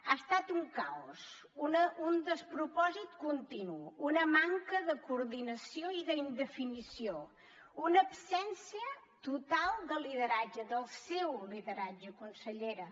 ha estat un caos un despropòsit continu una manca de coordinació i de definició una absència total de lideratge del seu lideratge consellera